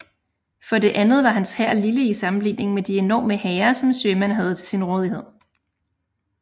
For det andet var hans hær lille i sammenligning med de enorme hære som Sherman havde til sin rådighed